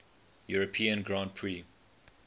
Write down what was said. european grand prix